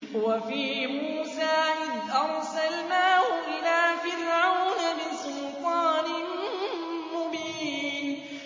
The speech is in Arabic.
وَفِي مُوسَىٰ إِذْ أَرْسَلْنَاهُ إِلَىٰ فِرْعَوْنَ بِسُلْطَانٍ مُّبِينٍ